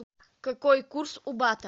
какой курс у бата